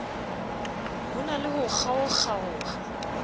ho na le ho kgaokgaoha